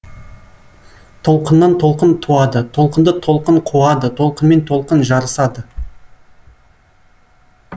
толқыннан толқын туады толқынды толқын қуады толқынмен толқын жарысад